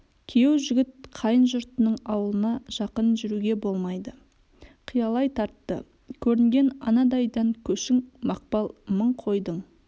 күйеу жігіт қайын жұртының ауылына жақын жүруге болмайды қиялай тартты көрінген анадайдан көшің мақпал мың қойдың